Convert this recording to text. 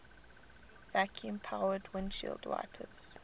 vacuum powered windshield wipers